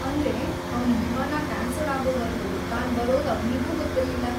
ಅಂದ್ರೆ, ಅವ್ನ ವಿಮಾನ ಕ್ಯಾನ್ಸಲ್‌ ಆಗೋವರ್ಗೂ ತಾನ್‌ ಬರೋದು ಅವ್ನಿಗೂ ಗೊತ್ತಿರ್ಲಿಲ್ಲ.